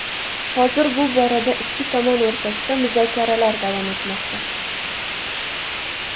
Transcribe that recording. Hozir bu borada ikki tomon o‘rtasida muzokaralar davom etmoqda.